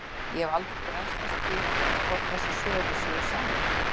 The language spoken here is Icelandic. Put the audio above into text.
Ég hef aldrei grennslast fyrir um það hvort þessar sögur séu sannar.